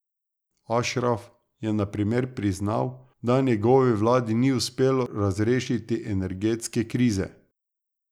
Ašraf je na primer priznal, da njegovi vladi ni uspelo razrešiti energetske krize.